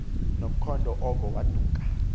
nomkhondo oko waduka